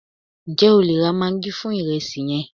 njé o le ra maggi fún iresi yen